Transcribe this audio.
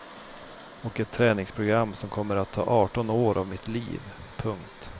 Och ett träningsprogram som kommer att ta arton år av mitt liv. punkt